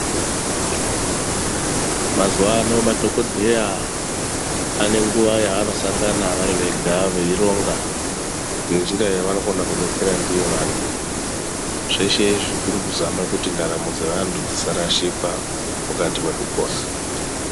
Mazuano madhokodheya anenguwa yavanosangana vari vega veironga, ngenjira yavanokona kudetsera ndiyo vanthu zveshe izvi kuri kuzame kuti ndaramo yevanthu dzisarashika mukati mwekupona.